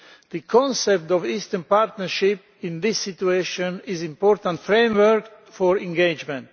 The concept of the Eastern Partnership in this situation is an important framework for engagement.